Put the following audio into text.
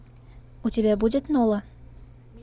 у тебя будет нола